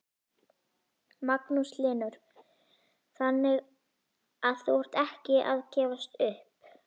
Magnús Hlynur: Þannig að þú ert ekki að gefast upp?